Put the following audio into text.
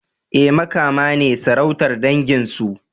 E, Makama ne sarautar dangin su.